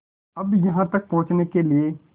अब यहाँ तक पहुँचने के लिए